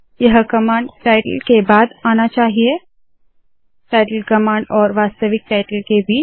यह command title के बाद आना चाहिए टाइटल कमांड और वास्तविक टाइटल के बीच